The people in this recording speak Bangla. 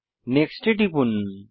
নেক্সট এ টিপুন